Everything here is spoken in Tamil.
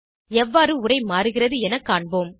எவ்வாறு உரை மாறுகிறது என காண்போம்